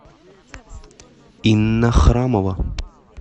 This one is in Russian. инна храмова